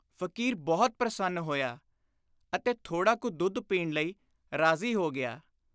ਫ਼ਕੀਰ ਬਹੁਤ ਪ੍ਰਸੰਨ ਹੋਇਆ ਅਤੇ ਥੋੜ੍ਹਾ ਕੁ ਦੁੱਧ ਪੀਣ ਲਈ ਰਾਜ਼ੀ ਹੋ ਗਿਆ।